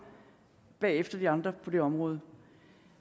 bagefter de andre på det område